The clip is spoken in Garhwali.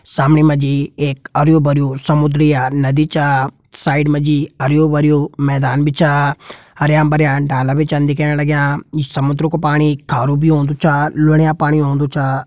सामणी मजी एक अरियुं भरियु समुंद्र या नदी छ। साइड मजी हरियुं भरियुं मैदान बि छ। हरियां भरियां डाला बि चन दिखेण लगियां। ईं समुन्द्र कु पाणी खारु बि होंदु छ लुणियां पानी होंदु छ।